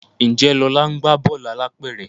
Njé Lola ńgba Bọ́ọ̀lù alápẹ̀rẹ̀?